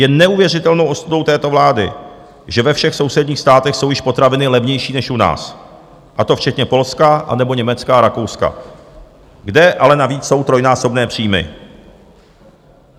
Je neuvěřitelnou ostudou této vlády, že ve všech sousedních státech jsou již potraviny levnější než u nás, a to včetně Polska anebo Německa a Rakouska, kde ale navíc jsou trojnásobné příjmy.